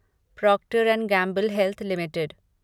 Procter and Gamble Health limited